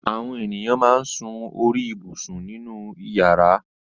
Àwọn ènìyàn máa ń sun orí ibùsùn nínú ìyàrá.